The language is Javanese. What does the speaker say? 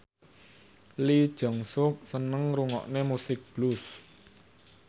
Lee Jeong Suk seneng ngrungokne musik blues